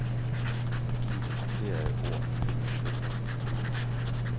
Giv det markerede ord følgende effekter.